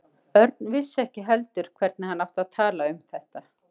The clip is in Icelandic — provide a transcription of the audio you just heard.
Örn vissi ekki heldur hvernig hann átti að tala um þetta.